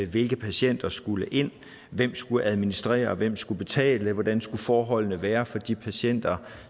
hvilke patienter skulle ind hvem skulle administrere hvem skulle betale hvordan skulle forholdene være for de patienter